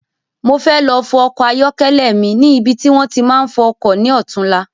Mo fẹ́ lọ fọ ọkọ ayọkẹlẹ mi ni ibi ti wòn ti máa ń fọ ọkọ̀ ni ọ̀túnla